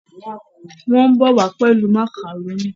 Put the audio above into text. Wón bó wá pẹlú macaroni